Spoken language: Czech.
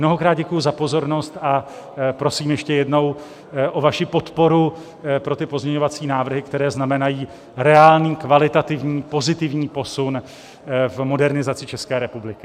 Mnohokrát děkuji za pozornost a prosím ještě jednou o vaši podporu pro ty pozměňovací návrhy, které znamenají reálný, kvalitativní, pozitivní posun v modernizaci České republiky.